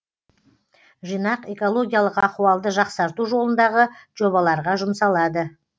жинақ экологиялық ахуалды жақсарту жолындағы жобаларға жұмсалады